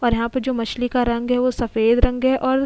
और यहां पर जो मछली का रंग है वो सफेद रंग है और --